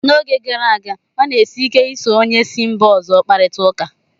N'oge gara aga, ọ na-esi ike ị so onye si mba ọzọ kparịta ụka